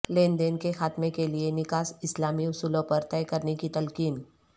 لین دین کے خاتمہ کیلئے نکاح اسلامی اصولوں پر طئے کرنے کی تلقین